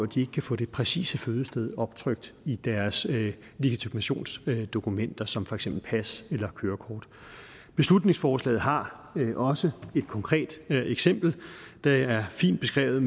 de ikke kan få det præcise fødested optrykt i deres legitimationsdokumenter som for eksempel pas eller kørekort beslutningsforslaget har også et konkret eksempel det er fint beskrevet